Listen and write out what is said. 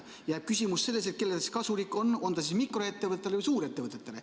Jääb küsimus, kellele see kasulik on, mikroettevõtetele või suurettevõtetele.